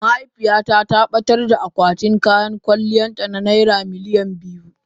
mahaifiyata ta batar da akwatin kayan kwalliyarta na naira miliyan biyu.